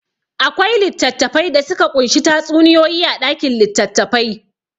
Akwai littattafai da suka ƙunshi tatsuniyoyi a ɗakin litattafai.